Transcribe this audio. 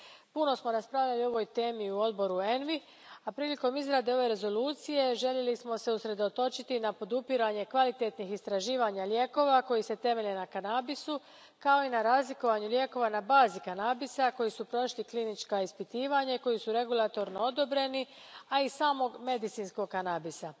Puno smo raspravljali o ovoj temi u Odboru ENVI, a prilikom izrade ove rezolucije željeli smo se usredotočiti na podupiranje kvalitetnih istraživanja lijekova koji se temelje na kanabisu, kao i na razlikovanju lijekova na bazi kanabisa koji su prošli klinička ispitivanja i koji su regulatorno odobreni, a i samog medicinskog kanabisa.